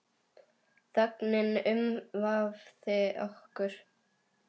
Þögnin umvafði okkur.